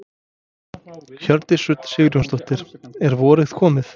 Hjördís Rut Sigurjónsdóttir: Er vorið komið?